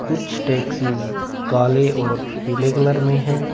कुछ टॉक्सिस काले और पिले कलर में है।